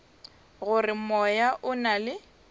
gore moya o na le